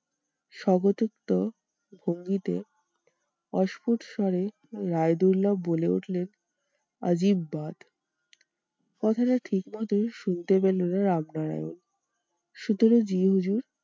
সোহতৃপ্ত ভঙ্গিতে অস্কুট স্বরে রায়দুল্লাও বলে উঠলেন কথাটা ঠিকমতন শুনতে পেলেন না রামনারায়ণ সুতরাং জি হুজুর